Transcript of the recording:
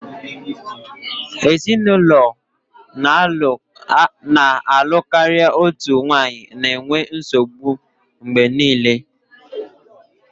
Ezinụlọ na-alụ karịa otu nwanyị na-enwe nsogbu mgbe niile